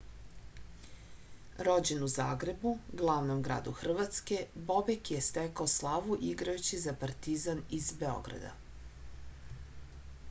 rođen u zagrebu glavnom gradu hrvatske bobek je stekao slavu igrajući za partizan iz beograda